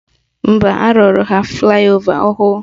Mba, arụrụ ha flaị ova ọhụrụ